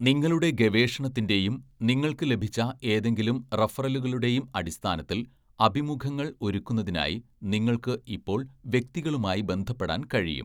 നിങ്ങളുടെ ഗവേഷണത്തിന്റെയും നിങ്ങൾക്ക് ലഭിച്ച ഏതെങ്കിലും റഫറലുകളുടെയും അടിസ്ഥാനത്തിൽ, അഭിമുഖങ്ങൾ ഒരുക്കുന്നതിനായി നിങ്ങൾക്ക് ഇപ്പോൾ വ്യക്തികളുമായി ബന്ധപ്പെടാൻ കഴിയും.